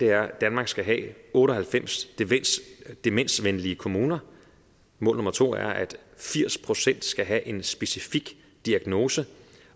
er at danmark skal have otte og halvfems demensvenlige kommuner mål nummer to er at firs procent skal have en specifik diagnose